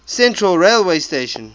central railway station